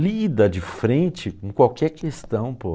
Lida de frente com qualquer questão, pô.